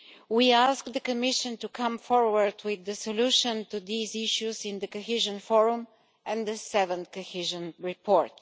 We ask the Commission to come forward with the solution to these issues in the Cohesion Forum and the 7th Cohesion Report.